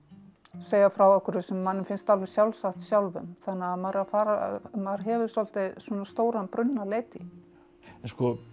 segja frá einhverju sem manni finnst alveg sjálfsagt sjálfum þannig að maður að maður hefur svolítið stóran brunn að leita í en